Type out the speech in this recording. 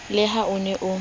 le ha o ne o